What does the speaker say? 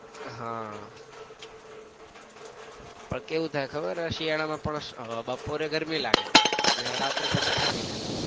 આહ પણ કેવું થાય ખબર ય શિયાળા માં પણ બપોરે ગરમી લાગે ને રાત્રે પછી ઠંડી લાગે.